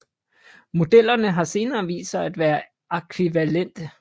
Modellerne har senere vist sig at være ækvivalente